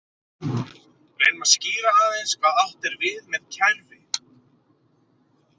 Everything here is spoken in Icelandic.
Reynum að skýra aðeins hvað átt er við með kerfi.